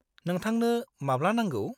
नोंथांनो माब्ला नांगौ?